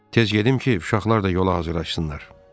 Tez gedim ki, uşaqlar da yola hazırlaşsınlar.